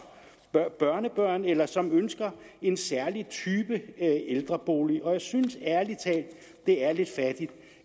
børn og børnebørn eller som ønsker en særlig type ældrebolig og jeg synes ærlig talt det er lidt fattigt